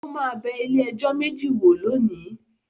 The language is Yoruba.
Ó máa bẹ ilé-ẹjọ́ méjì wò lónìí.